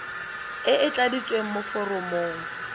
e e tladitsweng mo foromong